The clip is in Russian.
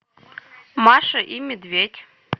маша и медведь